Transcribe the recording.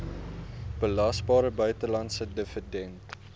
belasbare buitelandse dividend